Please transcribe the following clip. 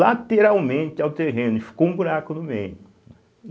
lateralmente ao terreno e ficou um buraco no meio.